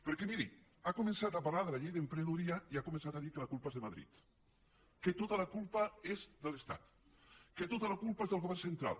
perquè miri ha començat a parlar de la llei d’emprenedoria i ha començat a dir que la culpa és de madrid que tota la culpa és de l’estat que tota la culpa és del govern central